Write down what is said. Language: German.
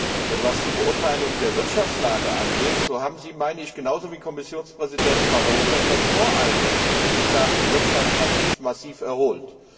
Aber was die Beurteilung der Wirtschaftslage angeht, so haben Sie genauso wie Kommissionspräsident Barroso etwas voreilig gesagt, die Wirtschaft habe sich massiv erholt.